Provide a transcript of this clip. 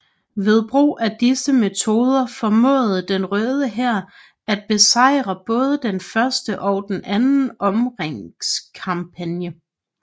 Ved brug af disse metode formåede den Røde Hær at besejret både den første og anden omringningskampagne